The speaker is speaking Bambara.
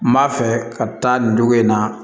N b'a fɛ ka taa nin dugu in na